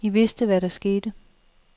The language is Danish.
I vidste, hvad der skete.